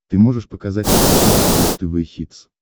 ты можешь показать на смотрешке бридж тв хитс